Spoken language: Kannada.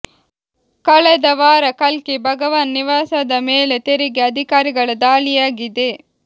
ಕಳೆದ ವಾರ ಕಲ್ಕಿ ಭಗವಾನ್ ನಿವಾಸದ ಮೇಲೆ ತೆರಿಗೆ ಅಧಿಕಾರಿಗಳ ದಾಳಿಯಾಗಿದೆ